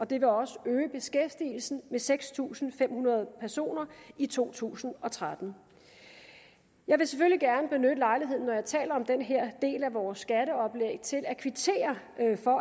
det vil også øge beskæftigelsen med seks tusind fem hundrede personer i to tusind og tretten jeg vil selvfølgelig gerne benytte lejligheden når jeg taler om den her del af vores skatteoplæg til at kvittere